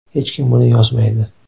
Hech kim buni yozmaydi.